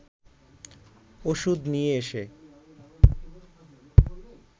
ওষুধ নিয়ে এসে